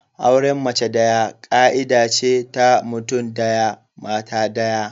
Auren mace daya ka'ida ce ta mutum daya, mata daya.